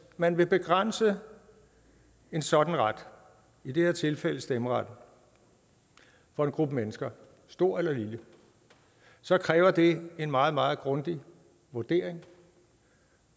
man vil begrænse en sådan ret i det her tilfælde stemmeretten for en gruppe mennesker stor eller lille så kræver det en meget meget grundig vurdering